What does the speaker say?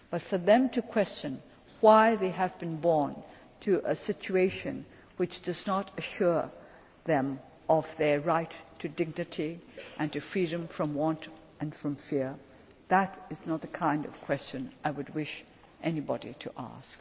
but for them to question why they have been born into a situation which does not assure them of their right to dignity and to freedom from want and from fear that is not the kind of question I would wish anybody